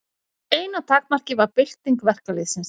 Eina takmarkið var bylting verkalýðsins.